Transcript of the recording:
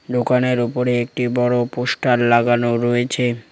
দোকানের ওপরে একটি বড় পোস্টার লাগানো রয়েছে।